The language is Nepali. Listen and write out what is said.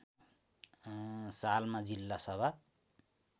सालमा जिल्ला सभा